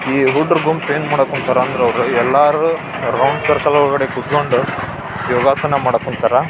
ಈ ಹುಡುಗರ ಗುಂಪು ಏನು ಮಾಡಾಕ್ ಕುಂತಾರೆ ಅಂದ್ರೆ ಅವರು ಎಲ್ಲರು ರೌಂಡ್ ಸರ್ಕಲ್ ಒಳಗಡೆ ಕುತ್ಕೊಂಡು ಯೋಗಾಸನ ಮಾಡಕ್ ಕುಂತಾರ.